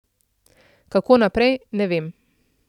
Kako naprej, ne vem.